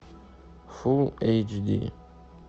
фулл эйч ди